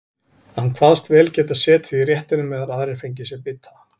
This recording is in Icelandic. Hann kvaðst vel geta setið í réttinum meðan aðrir fengju sér bita.